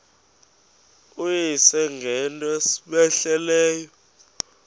uyise ngento cmehleleyo